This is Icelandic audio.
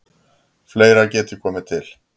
Fleira geti komið til.